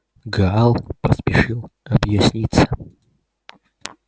гаал поспешил объясниться